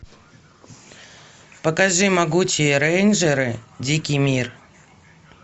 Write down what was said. покажи могучие рейнджеры дикий мир